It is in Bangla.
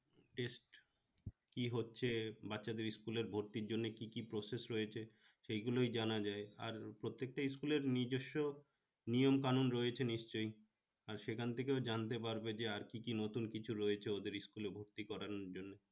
কি হচ্ছে বাচ্চাদের school এ ভর্তির জন্য কি কি process রয়েছে সেগুলো জানা যায় আর প্রত্যেকটা school এর নিজস্ব নিয়ম কানুন রয়েছে নিশ্চয় আর সেখান থেকেও জানতে পারবে যে আর কি কি নতুন কিছু রয়েছে ওদের school এ ভর্তি করানোর জন্য